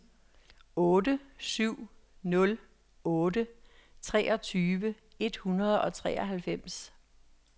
otte syv nul otte treogtredive et hundrede og treoghalvfems